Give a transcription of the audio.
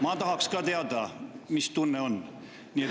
Ma tahaks ka teada, mis tunne see on.